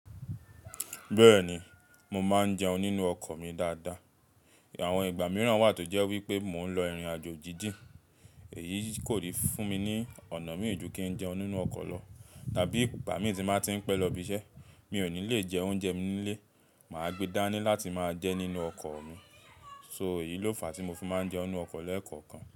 Bẹ́ẹ̀ni, mo máa ń jẹun nínú ọkọ̀ mi dáadáa. Àwọn ìgbà mìíràn wà tó jẹ́ wípé mò ń lọ ìrìnàjò jíjìn, èyí kò lè fún mi ní ọ̀nà mìí ju kín jẹun nínú ọkọ̀ lọ. Tàbí ìgbà mí tí máa ń pẹ́ lọ ibi iṣẹ́, mi ò ní le jẹ oúnjẹ mi nílé, màá gbe dání láti máa jẹ nínú ọkọ̀ mi. So, èyí ló fàá tí mo fi máa ń jẹun nínú ọkọ̀ lẹ́ẹ̀kọ̀kan.